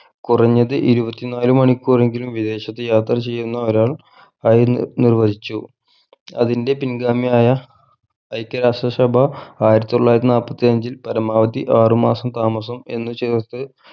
കുറഞ്ഞത് ഇരുപത്തിനാൽ മണിക്കൂറെങ്കിലും വിദേശത്തു യാത്ര ചെയ്യുന്ന ഒരാൾ ആയി നി നിർവ്വചിച്ചു അതിൻ്റെ പിൻഗാമിയായ ഐക്യ രാഷ്ട്ര സഭ ആയിരത്തി തൊള്ളായിരത്തി നാല്പത്തി അഞ്ചിൽ പരമാവധി ആറു മാസം താമസം എന്ന് ചേർത്ത്